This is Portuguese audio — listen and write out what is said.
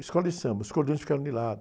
Escola de Samba, e os cordões ficaram de lado.